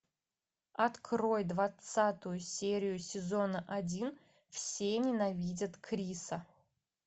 открой двадцатую серию сезона один все ненавидят криса